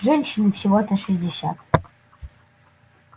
женщине всего-то шестьдесят